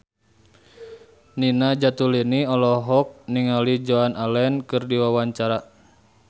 Nina Zatulini olohok ningali Joan Allen keur diwawancara